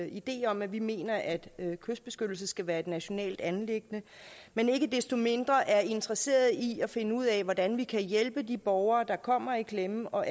idé om at vi mener at at kystbeskyttelse skal være et nationalt anliggende men ikke desto mindre er vi interesseret i at finde ud af hvordan vi kan hjælpe de borgere der kommer i klemme og